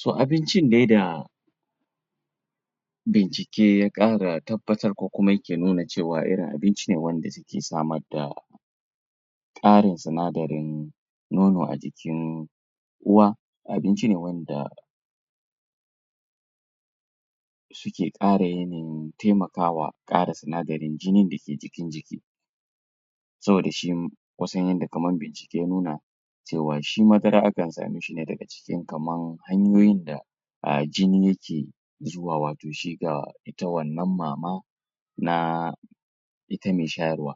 to abincin dai da bincike ya ƙara tabbatar ko kuma yake nuna cewa irin abinci ne wanda jiki yake samar da ƙarin sinadarin mono a jikin uwa abinci ne wanda yake ƙara yanayin taimakawa ƙara sinadarin jinin dake jikin jiki saboda shi kusan yanda kamar bincike ya nuna shi madara akan same shine daga jiki kamar hanyoyin da jini yake zuwa wato shiga ga ita wannan mama na ita me shayarwa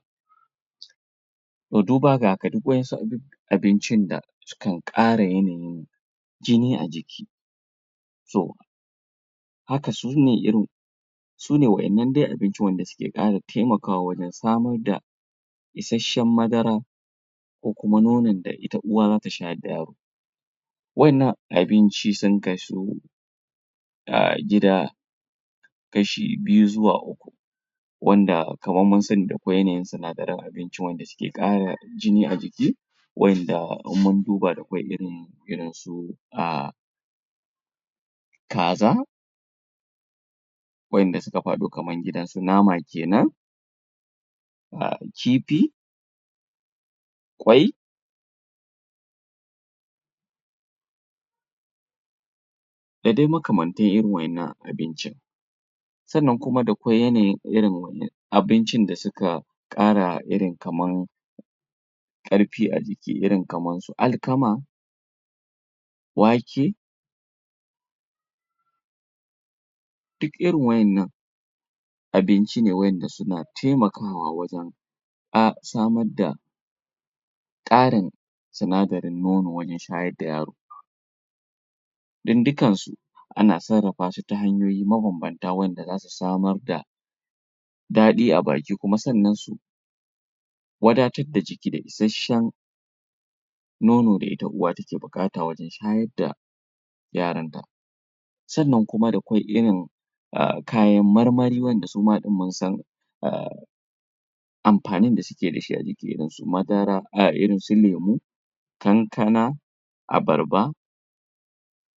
to duba ga haka duk waɗansu abincin da sukan ƙara yanayin jini ajiki to haka sune irin sune wa innan dai abincin wanda suke ƙara taimakawa wajan samu da ishashan madara ko kuma nonon da ita uwa zata shayar da yaro wa innan abinci sun kasu a guda kashe biyu zuwa uku wanda kamar sun sani da ƙwai yanayin sinadaran abinci wanda suke ƙara jini a jiki wanda in munduba da akwai irin irinsu a kaza wa inda suka faɗu kamar gidansu nama kenan da kifi kwai da dai makamantan irin wa innan abincin sannan kuma da ƙwai yanayin irin wannan abincin da suka kara irin kamar karfi a jiki irin kaman su alkama wake duk irin wa innan abinci ne wa inda suna taimakawa wajan a samar da ƙarin sinadarin nono wajan shayar da yaro dan dukansu ana sarrafasu ta hanyoyi mabanbanta wanda zasu samar da daɗi a baki kuma sannan su wadatar da jiki da ishasshan nono da ita uwa take buƙata wajan shayarda yaranta sannan kuma da kuma irin kayan marmari wanda suma ɗin munsan amfanin da suke dashi a jiki irin su madara irinsu lemo kankana abarba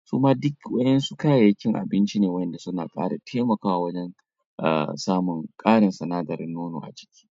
suna duk waɗansu kayayyakin abinci ne wanda suna ƙara taimakawa a samun ƙarin sinadarin nono a ciki